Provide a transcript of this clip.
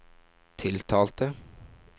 tiltalte